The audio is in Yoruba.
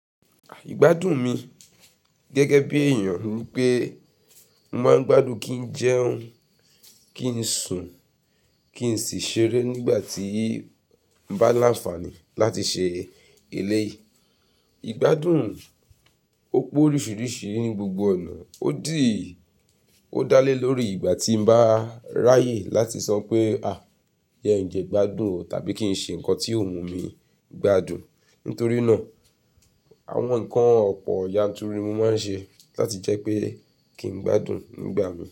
Ìgbádùn mi gẹ́gẹ́ bí èèyàn wí pé mo máa ń gbádùn kí n jẹun, kí n sùn, kí n sì ṣeré nígbà tí bá láǹfààní láti ṣe èlé yìí. Ìgbádùn ó pó oríṣiríṣi ní gbogbo ọ̀nà, ó dì, ó dálé lórí ìgbà tí mo bá ráyè láti sọ pé àá jẹ ǹjẹ́ gbádùn tàbí kí n ṣe nǹkan tí ò mú mi gbádùn. Nítorí náà, àwọn nǹkan ọ̀pọ̀ yanturu mo máa ń ṣe láti jẹ́ pé kí n gbádùn nígbà mìíràn.